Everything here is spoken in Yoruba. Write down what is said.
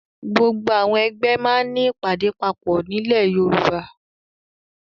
Gbogbo àwọn ẹgbẹ́ máa ń ní ìpàdé papọ̀ nílẹ̀ Yorùbá.